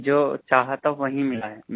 नहीं जो चाहा था वही मिला है